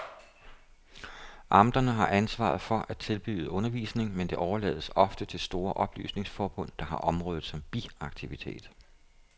Amterne har ansvaret for at tilbyde undervisning, men det overlades ofte til de store oplysningsforbund, der har området som biaktivitet.